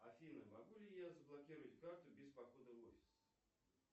афина могу ли я заблокировать карту без похода в офис